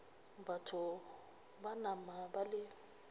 batho ba nama ba le